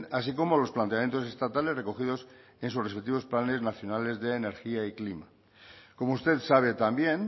así como los planteamientos estatales recogidos en sus respectivos planes nacionales de energía y clima como usted sabe también